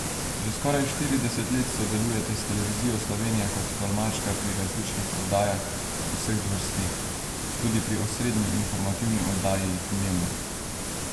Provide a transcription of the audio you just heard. Že skoraj štirideset let sodelujete s Televizijo Slovenija kot tolmačka pri različnih oddajah vseh zvrsti, tudi pri osrednji informativni oddaji Dnevnik.